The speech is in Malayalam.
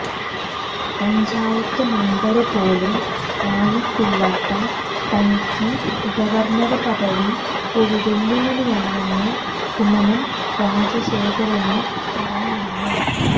പഞ്ചായത്ത് മെമ്പര് പോലും ആയിട്ടില്ലാത്ത തനിക്ക് ഗവര്ണര് പദവി ഒരു വെല്ലുവിളിയാണെന്ന് കുമ്മനം രാജശേഖരന് പറഞ്ഞിരുന്നു